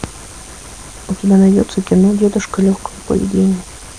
у тебя найдется кино дедушка легкого поведения